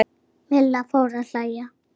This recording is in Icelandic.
Milla fór að hlæja.